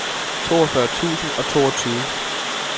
toogfyrre tusind og toogtyve